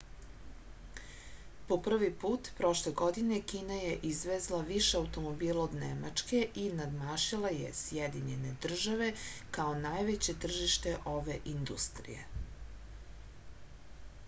po prvi put prošle godine kina je izvezla više automobila od nemačke i nadmašila je sjedinjene države kao najveće tržište ove industrije